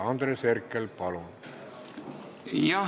Andres Herkel, palun!